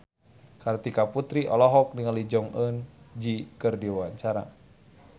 Kartika Putri olohok ningali Jong Eun Ji keur diwawancara